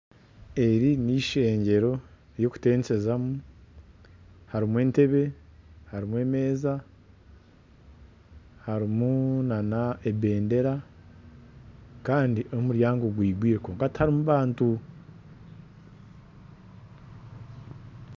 Eri nishengero ry'okutenseza mu. Harimu Entebe, harimu emeeza, harimu na nebendera Kandi n'omuryango gwigwire kwonka tiharimu abantu.